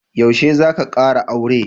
Yaushe za ka kara aure?